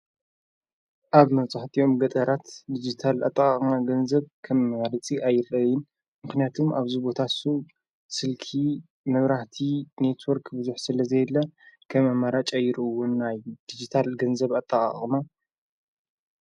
ኣብ መጽሕጢዮም ገጠራት ዲጅታል ኣጥቓቕማ ገንዘብ ከም መመርጺ ኣይረይን ምኽንያቱም ኣብዙ ቦታሱ ስልኪ ምብራህቲ ኔትወርክ ብዙኅ ስለ ዘየላ ከም ኣማራ ጨይሩውን ናይ ዲጅታል ገንዘብ ኣጠቐቕማ።